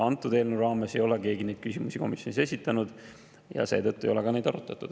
Antud eelnõu raames ei ole keegi neid küsimusi komisjonis esitanud ja seetõttu ei ole neid ka arutatud.